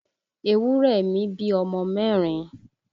Ewúrẹ̀ mi bí ọmọ mẹ́rin